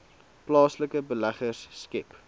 plaaslike beleggers skep